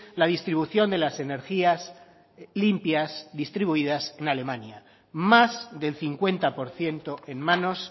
la distribución de las energías limpias distribuidas en alemania más del cincuenta por ciento en manos